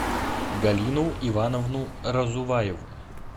галину ивановну разуваеву